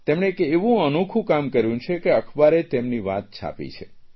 તેમણે એક એવું અનોખું કામ કર્યું છે કે અખબારે તેમની વાત છાપી છે